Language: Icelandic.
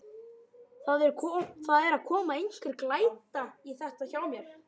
Það er að koma einhver glæta í þetta hjá mér.